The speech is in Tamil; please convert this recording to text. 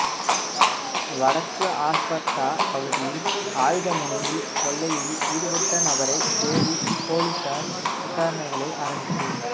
வடக்கு அல்பர்ட்டா பகுதியில் ஆயுதமுனையில் கொள்ளையில் ஈடுபட்ட நபரை தேடி பொலிஸார் விசாரணைகளை ஆரம்பித்து